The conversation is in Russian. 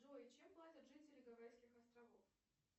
джой чем платят жители гавайских островов